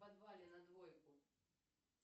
в подвале на двойку